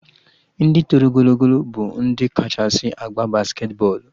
Ndị toro ogologo bụ ndị kachasị agba basketi bọọlụ